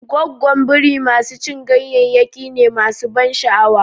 Goggo Biri masu cin ganyayyaki ne masu ban sha'awa.